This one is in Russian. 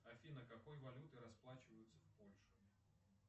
афина какой валютой расплачиваются в польше